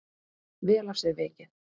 Vel af sér vikið.